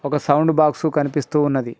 ఒక sound box కనిపిస్తూ ఉన్నది.